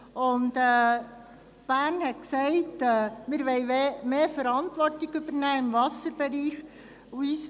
Die Stadt Bern hat gesagt, man wolle mehr Verantwortung im Wasserbereich übernehmen.